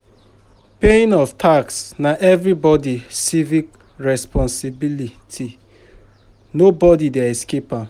Paying of tax na everybody civic responsibility nobody dey escape am